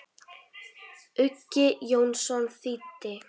Uggi Jónsson þýddi.